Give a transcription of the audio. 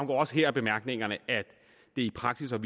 også her af bemærkningerne at det i praksis har